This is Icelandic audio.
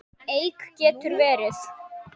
Eik getur verið